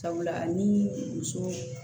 Sabula ni muso